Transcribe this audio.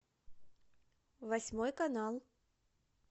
восьмой канал